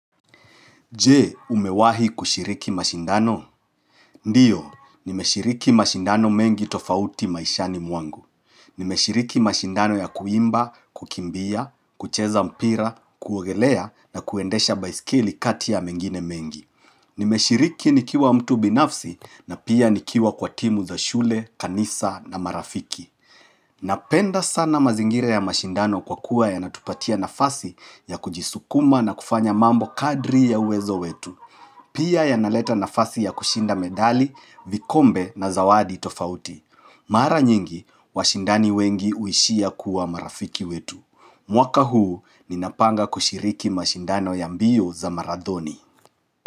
Je umewahi kushiriki mashindano? Ndiyo, nimeshiriki mashindano mengi tofauti maishani mwangu. Nimeshiriki mashindano ya kuimba, kukimbia, kucheza mpira, kuogelea na kuendesha baiskeli kati ya mengine mengi. Nimeshiriki nikiwa mtu binafsi na pia nikiwa kwa timu za shule, kanisa na marafiki. Napenda sana mazingira ya mashindano kwa kuwa yanatupatia nafasi ya kujisukuma na kufanya mambo kadri ya uwezo wetu. Pia yanaleta nafasi ya kushinda medali, vikombe na zawadi tofauti. Mara nyingi, washindani wengi huishia kuwa marafiki wetu. Mwaka huu, ninapanga kushiriki mashindano ya mbio za marathoni.